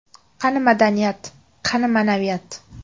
Qani madaniyat, qani ma’naviyat?!